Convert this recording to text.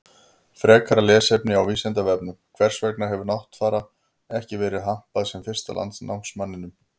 Frekara lesefni á Vísindavefnum: Hvers vegna hefur Náttfara ekki verið hampað sem fyrsta landnámsmanninum?